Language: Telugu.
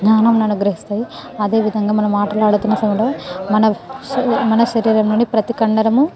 చాల జ్ఞానాన్ని అనుగ్రహిస్తది అధే విధంగా మనము ఆటలు ఆడుతున సమయఉ లో మన శరీరం నుండి ప్రతి కాండరము --